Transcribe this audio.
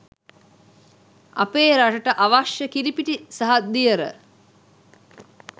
අපේ රටට අවශ්‍ය කිරිපිටි සහ දියර